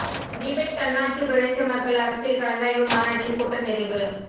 Tibet தன்னாட்சிப் பிரதேச மக்கள் அரசியல் கலந்தாய்வு மாநாட்டின் கூட்ட நிறைவு